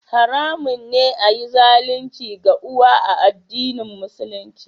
Haramun ne a yi zalunci ga uwa a addinin Musulunci